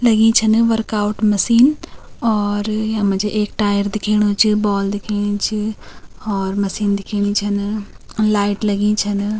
लगीं छन workout machine और यम्मा जी एक टायर दिखेणु च बॉल दिखेणी च और मशीन दिखेणी छिन लाइट लगीं छन।